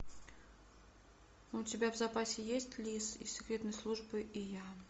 у тебя в запасе есть лис из секретной службы и я